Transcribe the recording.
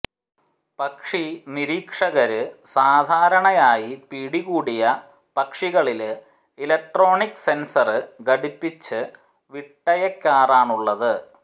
പക്ഷി നിരീക്ഷകര് സാധാരണയായി പിടികൂടിയ പക്ഷികളില് ഇലക്ട്രോണിക് സെന്സര് ഘടിപ്പിച്ച് വിട്ടയക്കാറാണുള്ളത്